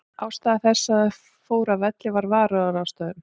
Ástæða þess að þeir fóru af velli var varúðarráðstöfun.